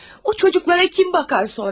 O uşaqlara kim baxacaq sonra?